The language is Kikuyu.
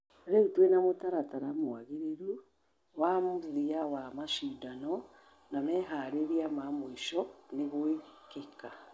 Rĩu twena mũtaratara mũagĩriru wa mũthia wa mashidano na meharĩria ma mũisho ni gũĩkeka.